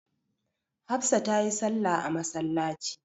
Hafsa ta yi salla a masallaci.